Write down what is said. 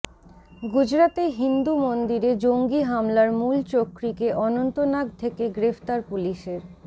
গুজরাতে হিন্দু মন্দিরে জঙ্গি হামলার মূল চক্রীকে অনন্তনাগ থেকে গ্রেফতার পুলিশের